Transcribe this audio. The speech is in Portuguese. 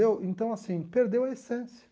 Eu então, assim, perdeu a essência.